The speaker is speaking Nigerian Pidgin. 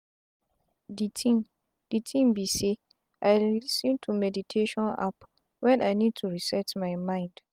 d tin d tin be say i lis ten to meditation app wen i need to reset my mind.